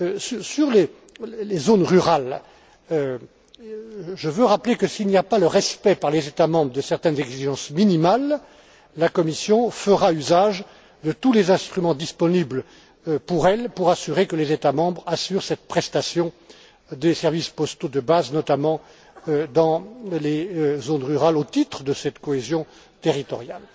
En ce qui concerne les zones rurales, je veux rappeler que s'il n'y a pas le respect, par les États membres, de certaines exigences minimales, la Commission fera usage de tous les instruments à sa disposition pour garantir que les États membres assurent cette prestation des services postaux de base, notamment dans les zones rurales au titre de cette cohésion territoriale.